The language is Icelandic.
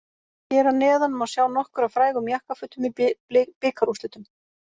Hér að neðan má sjá nokkur af frægum jakkafötum í bikarúrslitum.